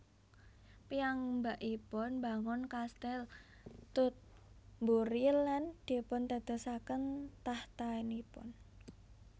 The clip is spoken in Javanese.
Piyambakipun mbangun Kastil Tutbury lan dipundadosaken tahtanipun